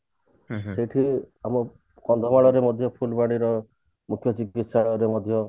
ସେଥିରୁ ଆମେ କନ୍ଧମାଳ ଫୁଲବାଣୀ ର ମୁଖ୍ୟ ଚିକିତ୍ସାଳୟ ରେ ମଧ୍ୟ